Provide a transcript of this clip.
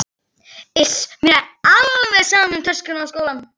Iss, mér er alveg sama um töskuna og skólann